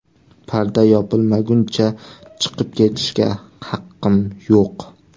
Parda yopilmaguncha chiqib ketishga haqqim yo‘q.